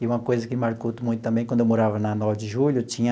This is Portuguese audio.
E uma coisa que marcou muito também, quando eu morava na Nove de Julho, tinha